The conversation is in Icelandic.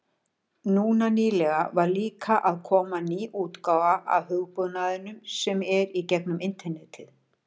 Núna nýlega var líka að koma ný útgáfa af hugbúnaðinum sem er í gegnum internetið.